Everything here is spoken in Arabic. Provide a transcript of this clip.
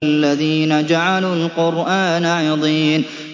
الَّذِينَ جَعَلُوا الْقُرْآنَ عِضِينَ